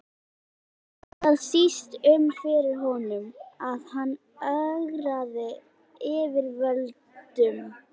Bætti það síst um fyrir honum, að hann ögraði yfirvöldum.